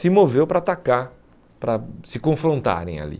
se moveu para atacar, para se confrontarem ali.